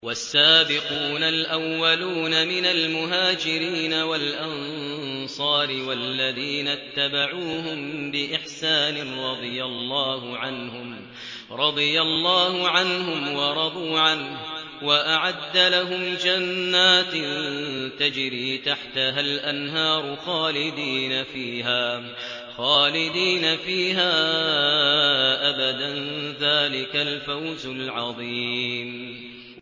وَالسَّابِقُونَ الْأَوَّلُونَ مِنَ الْمُهَاجِرِينَ وَالْأَنصَارِ وَالَّذِينَ اتَّبَعُوهُم بِإِحْسَانٍ رَّضِيَ اللَّهُ عَنْهُمْ وَرَضُوا عَنْهُ وَأَعَدَّ لَهُمْ جَنَّاتٍ تَجْرِي تَحْتَهَا الْأَنْهَارُ خَالِدِينَ فِيهَا أَبَدًا ۚ ذَٰلِكَ الْفَوْزُ الْعَظِيمُ